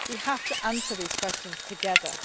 We have to answer these questions together.